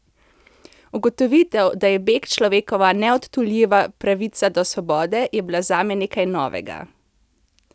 Ugotovitev, da je beg človekova neodtujljiva pravica do svobode, je bila zame nekaj novega.